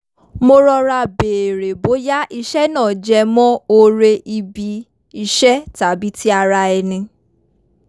mo rọra béèrè bóyá iṣẹ́ náà jẹmọ́ oore ibi iṣẹ́ tàbí ti ara ẹni